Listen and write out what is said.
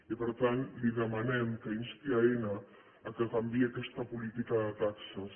i per tant li demanem que insti aena que canviï aquesta política de taxes